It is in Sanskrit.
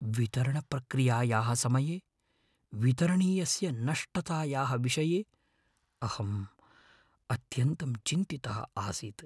वितरणप्रक्रियायाः समये वितरणीयस्य नष्टतायाः विषये अहं अत्यन्तं चिन्तितः आसीत्।